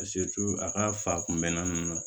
a ka fa kunbɛnna ninnu na